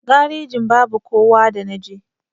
Garejin babu kowa da naje.